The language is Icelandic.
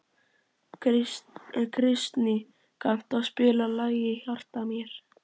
Kristný, kanntu að spila lagið „Í hjarta mér“?